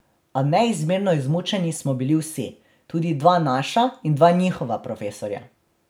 A neizmerno izmučeni smo bili vsi, tudi dva naša in dva njihova profesorja.